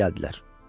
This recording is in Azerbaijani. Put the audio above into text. Xoş gəldilər.